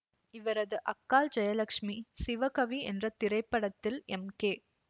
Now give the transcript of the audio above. இவரது அக்காள் ஜயலட்சுமி சிவகவி என்ற திரைப்படத்தில் எம் கே